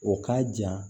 O k'a jan